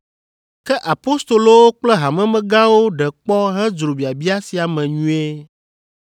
Ke apostolowo kple hamemegãwo ɖe kpɔ hedzro biabia sia me nyuie.